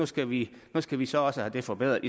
skal vi skal vi så også have den forbedret